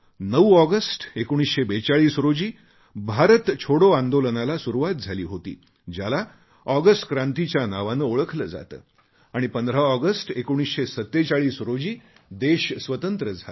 9 August 1942 रोजी भारत छोडो आंदोलनाला सुरुवात झाली होती ज्याला ऑगस्ट क्रांतीच्या नावाने ओळखले जाते आणि 15 ऑगस्ट 1947 रोजी देश स्वतंत्र झाला